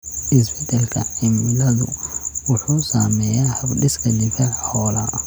Isbeddelka cimiladu wuxuu saameeyaa hab-dhiska difaaca xoolaha.